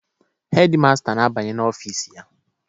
Hedi masta na-abanye n'ofiisi ya.